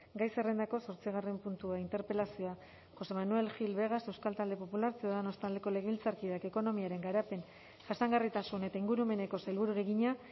gai zerrendako zortzigarren puntua interpelazioa josé manuel gil vegas euskal talde popularra ciudadanos taldeko legebiltzarkideak ekonomiaren garapen jasangarritasun eta ingurumeneko sailburuari egina